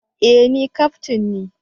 E! Ni kaftin ne